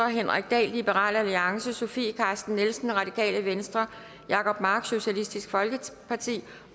henrik dahl sofie carsten nielsen jacob mark